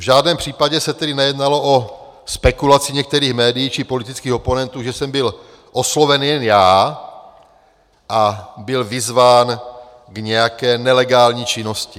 V žádném případě se tedy nejednalo o spekulaci některých médií či politických oponentů, že jsem byl osloven jen já a byl vyzván k nějaké nelegální činnosti.